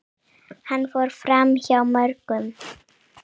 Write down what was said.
Hann fór framhjá mörgum.